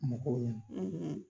Mɔgɔw ɲɛna,